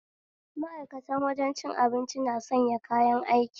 Ma'aikatan wajen cin abinci na sanya kayan aiki